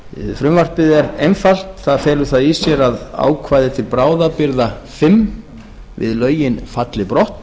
frumvarpið er einfalt það felur það í sér að ákvæði til bráðabirgða fimm við lögin falli brott